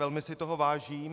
Velmi si toho vážím.